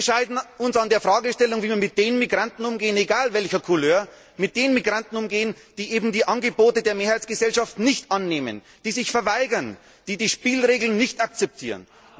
Wir scheiden uns an der Fragestellung, wie man mit den Migranten egal welcher Couleur umgehen soll, die eben die Angebote der Mehrheitsgesellschaft nicht annehmen, die sich verweigern, die die Spielregeln nicht akzeptieren.